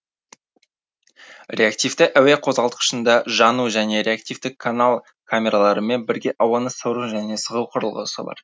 реактивті әуе қозғалтқышында жану және реактивтік канал камераларымен бірге ауаны сору және сығу құрылғысы бар